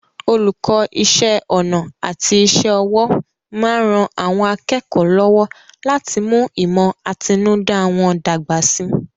Olùkọ́ Iṣẹ́ ọnà àti iṣẹ́ ọwọ́ máa ń ran àwọn akẹ́kọ̀ọ́ lọ́wọ́ láti mú ìmọ̀ àtinúdá wọn dàgbà síi